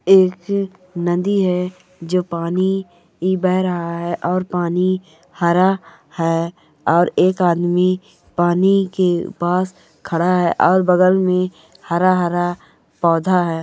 एक नदी है जो पानी बहा रहा है और पानी हरा है और एक आदमी पानी के पास खड़ा है और बगल में हरा हरा पौधा है।